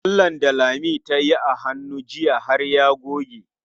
Lallen da Lami tayi a hannu jiya har ya goge.